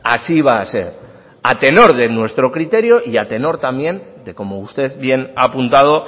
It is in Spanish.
así va a ser a tenor de nuestro criterio y a tenor también de cómo usted bien ha apuntado